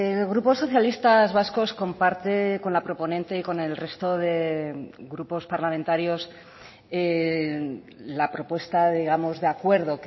el grupo socialistas vascos comparte con la proponente y con el resto de grupos parlamentarios la propuesta digamos de acuerdo